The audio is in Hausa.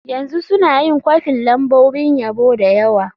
Yanzu suna yin kwafin lambobin yabo da yawa.